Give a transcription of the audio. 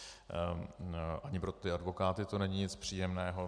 Ani pro ty advokáty to není nic příjemného.